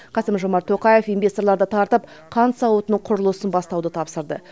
қасым жомарт тоқаев инвесторларды тартып қант зауытының құрылысын бастауды тапсырды